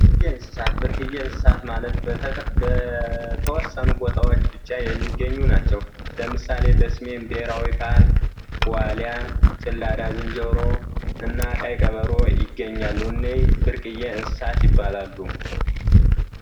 እንስሳት ብርቅዬ እንስሳት ማለት በተወሰኑ ቦታዎች ብቻ የሚገኙ ናቸው። ለምሳሌ በሰሜን ብሔራዊ ፓርክ ዋሊያ፣ ጭላዳ ዝንጀሮ እና ቀይ ቀበሮ ይገኛሉ። እነዚህ ብርቅዬ እንስሳት ይባላሉ።